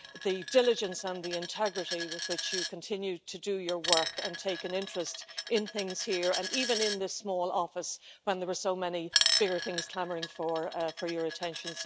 The diligence and the integrity with which you continue to do your work and take an interest in things here, and even in this small office, when there were so many bigger things clamouring for your attention.